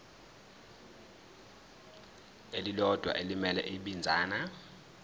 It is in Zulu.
elilodwa elimele ibinzana